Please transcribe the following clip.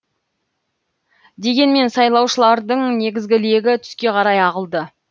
дегенмен сайлаушылардың негізгі легі түске қарай ағылды